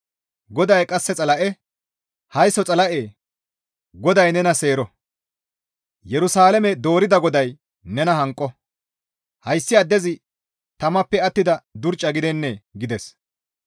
GODAY qasse Xala7e, «Haysso Xala7e GODAY nena seero; Yerusalaame doorida GODAY nena hanqo; hayssi addezi tamappe attida durca gidennee?» gides.